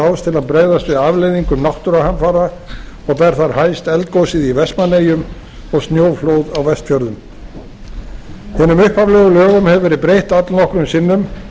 til að bregðast við afleiðingum náttúruhamfara og ber þar hæst eldgosið í vestmannaeyjum og snjóflóð á vestfjörðum hinum upphaflegu lögum hefur verið breytt allnokkrum sinnum